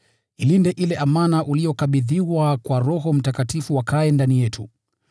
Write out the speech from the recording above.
Ilinde ile amana uliyokabidhiwa kwa Roho Mtakatifu akaaye ndani yetu.